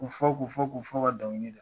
K'u fɔ k'u fɔ k'u fɔ ka dan